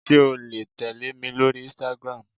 Sé o le tèlémi lórí "Instagram"